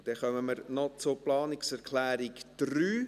Wir kommen noch zur Planungserklärung 3.